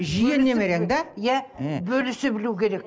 жиен немерең да иә ы бөлісе білу керек